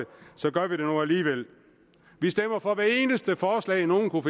gør vi det nu alligevel vi stemmer for hver eneste forslag nogen kunne